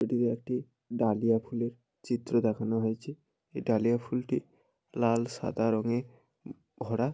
এটি একটি ডালিয়া ফুলে চিত্র দেখানো হয়েছে এই ডালিয়া ফুলটি লাল সাদা রঙে ভরা।